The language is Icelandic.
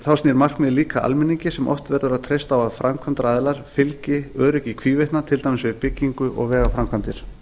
þá snýr markmiðið líka að almenningi sem oft verður að treysta á að framkvæmdaaðilar fylgi öryggi í hvívetna til dæmis við bygginga og vegaframkvæmdir